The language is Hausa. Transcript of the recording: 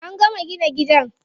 An gama gina gidan.